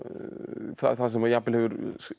það sem jafnvel hefur